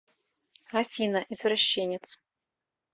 афина извращенец